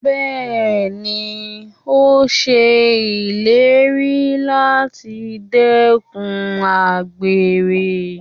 Bẹ́ẹ̀ni, ó ṣe ìlérí láti dẹ́kun àgbèrè.